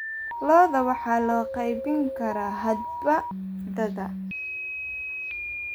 Lo'da waxaa loo qaybin karaa hadba da'da.